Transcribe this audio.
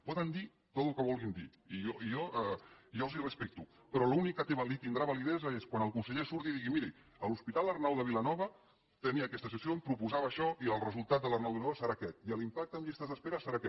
poden dir tot el que vulguin dir i jo els ho respecto però l’únic que tindrà validesa és quan el conseller surti i digui miri a l’hospital arnau de vilanova tenia aquesta sessió em proposava això i el resultat de l’arnau de vilanova serà aquest i l’impacte en llistes d’espera serà aquest